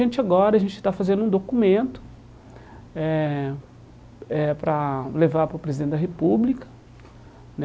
agora a gente está fazendo um documento eh eh para levar para o Presidente da República né.